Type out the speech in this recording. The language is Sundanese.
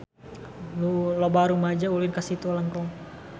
Loba rumaja ulin ka Situ Lengkong